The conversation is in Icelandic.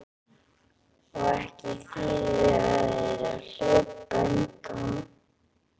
Og ekki þýðir þér að hlaupa undan.